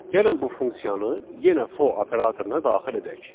Gəlin bu funksiyanı yenə fo operatoruna daxil edək.